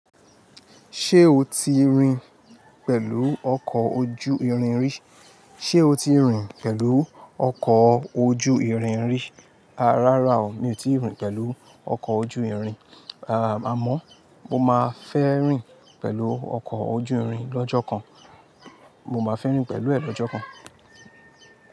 Ṣé o ti rìn pẹ̀lú ọkọ̀ ojú irin rí? Rárá o, mi ò tíì rìn pẹ̀lú ọkọ̀ ojú irin rí. Àmọ́ mo máa fẹ́ rìn pẹ̀lú ọkọ̀ ojú irin lọ́jọ́ kan. Mo máa fẹ́ rìn pẹ̀lú ẹ̀ lọ́jọ́ kan.